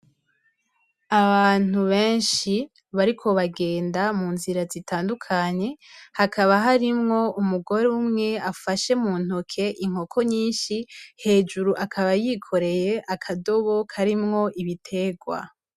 Abantu benshi bariko baragenda mu nzira zitandukanye hakaba harimwo umugore umwe afashe inkoko nyinshi hejuru akaba yikoreye akadobo karimwo ibiterwa.